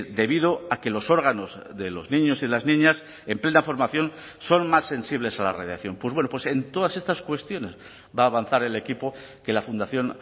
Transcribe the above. debido a que los órganos de los niños y las niñas en plena formación son más sensibles a la radiación pues bueno en todas estas cuestiones va a avanzar el equipo que la fundación